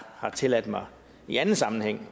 har tilladt mig i anden sammenhæng